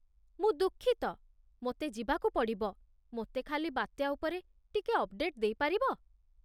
ମୁଁ ଦୁଃଖିତ, ମୋତେ ଯିବାକୁ ପଡ଼ିବ, ମୋତେ ଖାଲି ବାତ୍ୟା ଉପରେ ଟିକେ ଥ୍ୟାଙ୍କ୍‌ଫୁଲି ଅପ୍‌ଡେଟ୍ ଦେଇପାରିବ?